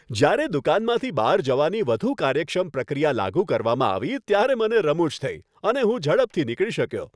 જ્યારે દુકાનમાંથી બહાર જવાની વધુ કાર્યક્ષમ પ્રક્રિયા લાગુ કરવામાં આવી ત્યારે મને રમુજ થઈ અને હું ઝડપથી નીકળી શક્યો.